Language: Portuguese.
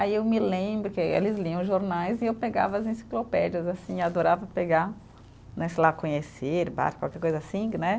Aí eu me lembro que aí eles liam jornais e eu pegava as enciclopédias, assim, e adorava pegar, né, sei lá, conhecer, barco, qualquer coisa assim, né?